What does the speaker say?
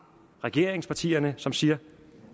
regeringspartierne som siger